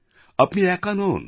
আপনি একা নন